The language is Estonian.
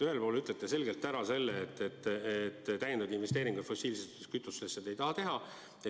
Ühelt poolt te ütlete selgelt, et täiendavaid investeeringuid fossiilsetesse kütustesse te ei taha teha.